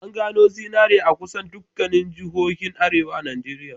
An gano zinari a kusan dukkanin jihohin arewa a Najeriya.